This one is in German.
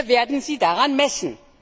Wir werden sie daran messen.